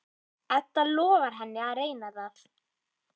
Edda lofar henni að reyna það.